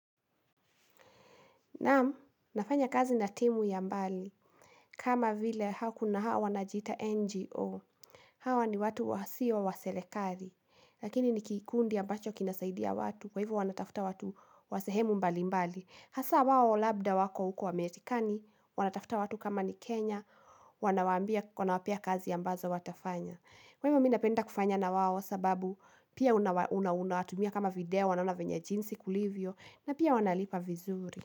Nafanya kazi na timu ya mbali, kama vile hao wanaojiita NGO. Hao ni watu, wasiyo wa serikali lakini ni kikundi ambacho kinasaidia watu, kwa hivyo wanatafuta watu wa sehemu mbalimbali. Hasa wao labda wako huko Amerika, wanatafuta watu kama ni Kenya, wanawapea kazi ambazo watafanya. Kwa hivyo mimi ninapenda kufanya na wao sababu, pia unawatumia kama video, wanaona venye jinsi kulivyo, na pia wanalipa vizuri.